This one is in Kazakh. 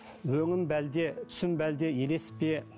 өңім бе әлде түсім бе әлде елес пе